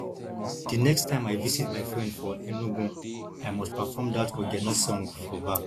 the next time i visit my friend for enugu i must perform that ogene song for bar